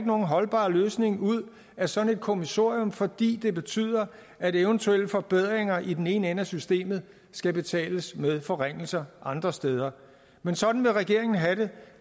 nogen holdbar løsning ud af sådan et kommissorium fordi det betyder at eventuelle forbedringer i den ene ende af systemet skal betales med forringelser andre steder men sådan vil regeringen have det